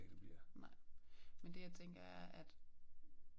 Nej men det jeg tænker er at